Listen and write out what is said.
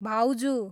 भाउजु